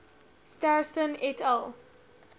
starostin et al